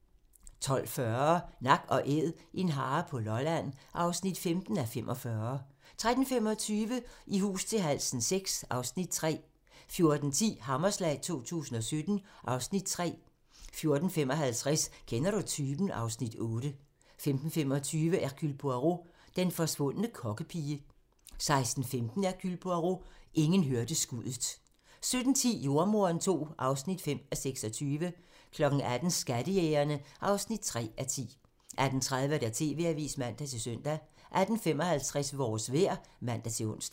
12:40: Nak & Æd - en hare på Lolland (15:45) 13:25: I hus til halsen VI (Afs. 3) 14:10: Hammerslag 2017 (Afs. 3) 14:55: Kender du typen? (Afs. 8) 15:25: Hercule Poirot: Den forsvundne kokkepige (man) 16:15: Hercule Poirot: Ingen hørte skuddet (man) 17:10: Jordemoderen II (5:26) 18:00: Skattejægerne (3:10) 18:30: TV-avisen (man-søn) 18:55: Vores vejr (man-ons)